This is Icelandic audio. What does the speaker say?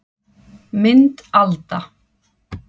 Mynd Alda